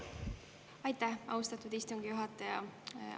Aitäh, austatud istungi juhataja!